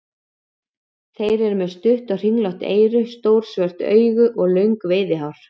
Þeir eru með stutt og kringlótt eyru, stór svört augu og löng veiðihár.